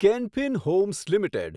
can Fin Homes limited